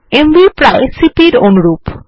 MV প্রায় CP এর অনুরূপ